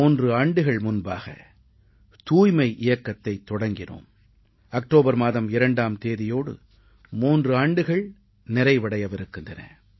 3 ஆண்டுகள் முன்பாக தூய்மை இயக்கத்தைத் தொடங்கினோம் அக்டோபர் மாதம் 2ஆம் தேதியோடு 3 ஆண்டுகள் நிறைவடையவிருக்கின்றன